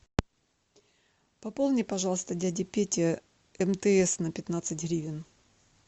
пополни пожалуйста дяде пете мтс на пятнадцать гривен